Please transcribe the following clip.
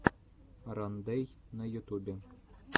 рандэй на ютубе